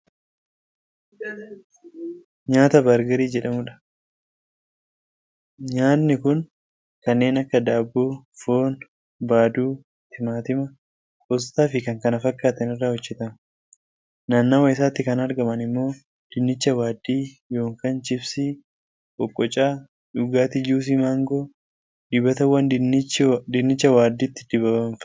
Nyaata bargarii jedhamudha. Nyaati kun kanneen, akka daabboo, foon, baaduu, timaatima, qostaa fi kan kana fakkaatan irraa hojjatama. Nannawa isaatti kan argaman ammoo dinnicha waaddii(chipsii), qoqqocaa, dhugaatii juusii mangoo, dibatawwan dinnicha waaddiitti dibamanfaadha.